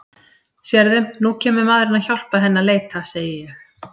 Sérðu, nú kemur maðurinn að hjálpa henni að leita, segi ég.